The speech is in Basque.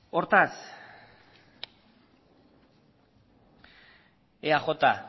hortaz eaj